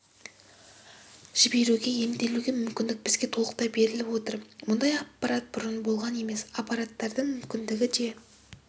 жіберуге емделуге мүмкіндік бізге толықтай беріліп отыр мұндай аппарат бұрын болған емес аппараттардың мүмкіндігі де